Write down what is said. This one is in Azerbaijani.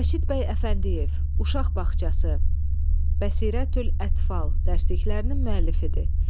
Rəşid bəy Əfəndiyev "Uşaq bağçası", "Bəsirətül ətfal" dərsliklərinin müəllifidir.